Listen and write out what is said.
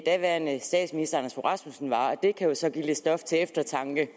daværende statsminister anders fogh rasmussen var det kan så give lidt stof til eftertanke